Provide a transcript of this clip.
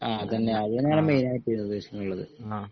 ആ അതന്നെ അതന്നെയാണ് മെയിനായിട്ട്